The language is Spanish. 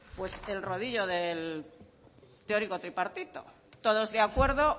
pues el rodillo del teórico tripartito todos de acuerdo